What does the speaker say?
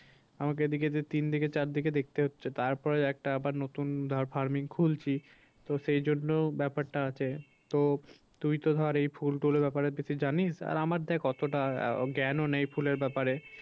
আমাকে এদিকে যে দিকে দিকে চার দিকে হচ্ছে তারপরে একটা আবার নতুন ধর farming খুলছি। তো সেই জন্য ব্যাপারটা আছে তো তুই তো ধর এই ফুল টুল এর ব্যাপারের বেশি জানিস আর আমার দেখ অতটা জ্ঞান ও নেই ফুলের ব্যাপারে